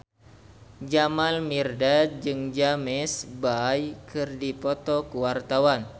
Jamal Mirdad jeung James Bay keur dipoto ku wartawan